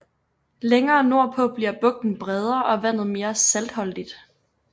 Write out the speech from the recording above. Længere nordpå bliver bugten bredere og vandet mere saltholdigt